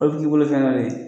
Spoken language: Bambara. O b t'i bolo fɛn wɛrɛ ye